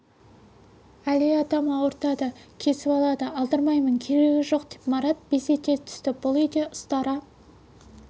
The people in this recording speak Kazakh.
әли атам ауыртады кесіп алады алдырмаймын керегі жоқ деп марат без ете түсті бұл үйде ұстара